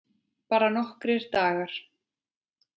Bara nokkra daga.